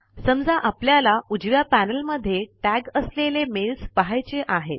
समजा आपल्याला उजव्या पैनल मध्ये टॅग असलेलें मेल्स पहायचे आहेत